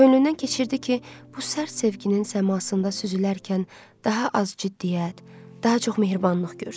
Könlündən keçirdi ki, bu sərt sevginin səmasında süzülərkən daha az ciddiyyət, daha çox mehribanlıq görsün.